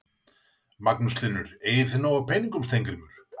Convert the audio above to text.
Magnús Hlynur: Eigið þið nóg af peningum Steingrímur?